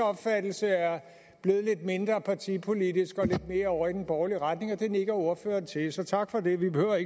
opfattelse er blevet lidt mindre partipolitisk og lidt mere over i den borgerlige retning det nikker ordføreren til så tak for det det behøver